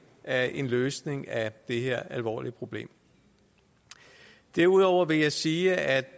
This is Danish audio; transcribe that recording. af en løsning af det her alvorlige problem derudover vil jeg sige at